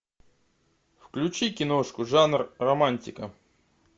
включи киношку жанр романтика